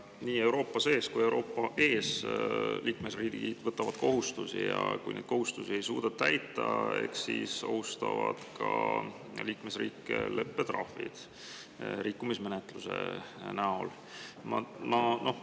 Liikmesriigid võtavad nii Euroopa sees kui ka ees endale kohustusi ja kui neid kohustusi ei suudeta täita, siis ohustavad liikmesriike ka rikkumismenetlused ja leppetrahvid.